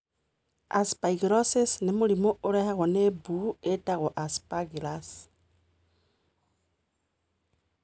Aspergillosis nĩ mũrimũ ũrehagwo nĩ mbuu ĩtagwo Aspergillus.